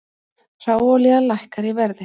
Hráolía lækkar í verði